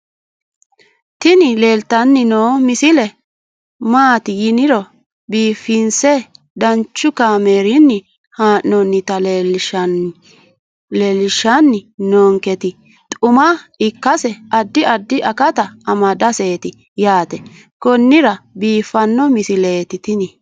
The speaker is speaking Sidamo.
tini leeltanni noo misile maaati yiniro biifinse danchu kaamerinni haa'noonnita leellishshanni nonketi xuma ikkase addi addi akata amadaseeti yaate konnira biiffanno misileeti tini